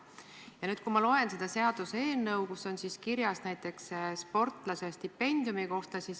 Ma nüüd loen sellest seaduseelnõust näiteks sportlase stipendiumi kohta.